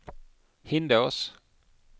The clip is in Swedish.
Hindås